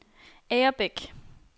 Agerbæk